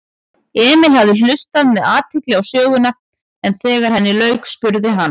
Emil hafði hlustað með athygli á söguna en þegar henni lauk spurði hann